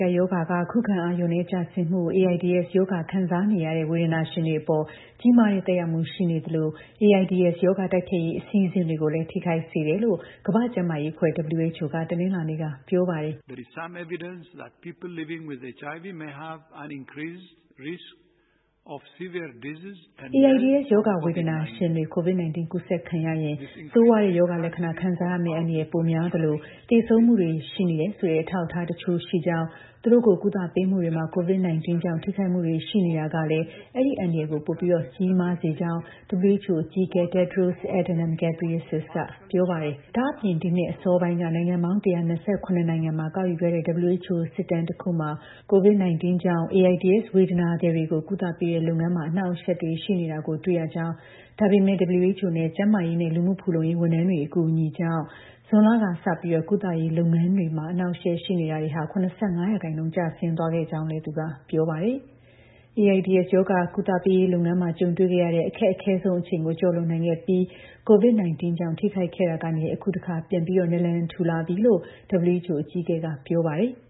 ကပ်ရောဂါက ခုခံအား လျော့နည်း ကျဆင်းမှု (AIDS) ကူးစက်ရောဂါ ခံစားနေရတဲ့ ဝေဒနာရှင်တွေ အပေါ် ကြီးမားတဲ့ သက်ရောက်မှု ရှိနေသလို AIDS ရောဂါ တိုက်ဖျက်ရေး အစီအစဉ်တွေကိုလည်း ထိခိုက်စေတယ်လို့ ကမ္ဘာ့ ကျန်းမာရေးအဖွဲ့ WHO က တနင်္လာနေ့က ပြောပါတယ်။ "AIDS ရောဂါ ဝေဒနာရှင်တွေ COVID-19 ကူးစက်ခံရရင် ဆိုးရွားတဲ့ ရောဂါ လက္ခဏာ ခံစားရမယ့် အန္တရာယ် ပိုများသလို သေဆုံးမှုတွေ ရှိနေတယ်ဆိုတဲ့ အထောက်အထား တချို့လည်းရှိပါတယ်။ သူတို့ကို ကုသပေးမှုတွေမှာ COVID-19 ကြောင့် ထိခိုက်မှုတွေ ရှိနေတာကလည်း အဲဒီ အန္တရာယ်ကို ပိုကြီးလာစေပါတယ်။" လို့ WHO အကြီးအကဲ Tedros Adhanom Ghebreyesus က ပြောပါတယ်။ ဒါ့အပြင် ဒီနှစ် အစောပိုင်းက နိုင်ငံပေါင်း ၁၂၇ နိုင်ငံမှာ ကောက်ယူခဲ့တဲ့ WHO စစ်တမ်းတစ်ခုမှာ COVID-19 ကြောင့် AIDS ဝေဒနာသည်တွေကို ကုသပေးတဲ့လုပ်ငန်းမှာ အဟန့်အတားတွေ ရှိနေတာကို တွေ့ခဲ့ရကြောင်း ဒါပေမဲ့ WHO နဲ့ ကျန်းမာရေးနဲ့ လူမှုဖူလုံရေး ဝန်ထမ်းတွေရဲ့ အကူအညီတွေကြောင့် ဇွန်လကစပြီး ကုသရေးလုပ်ငန်းတွေမှာကြုံရတဲ့ အဟန့်အတားတွေ ၇၅% ကျဆင်းသွားခဲ့ကြောင်းလည်း သူက ပြောပါတယ်။ AIDS ရောဂါ ကုသပေးရေး လုပ်ငန်းမှာ ကြုံတွေ့ခဲ့ရတဲ့ အခက်ခဲဆုံး အချိန်ကို ကျော်လွန်နိုင်ခဲ့ပြီး COVID-19 ကြောင့် ထိခိုက်ခဲ့တာကနေ အခုအခါ ပြန်ပြီး နာလံထူလာနေပြီလို့လည်း WHO အကြီးအကဲက ပြောပါတယ်။